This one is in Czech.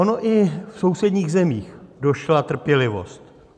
Ono i v sousedních zemích došla trpělivost.